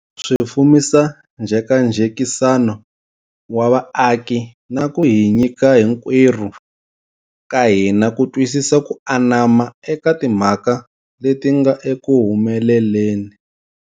Swi fumisa njhekanjhekisano wa vaaki na ku hi nyika hinkwerhu ka hina ku twisisa ko anama eka timhaka leti nga eku humeleleni.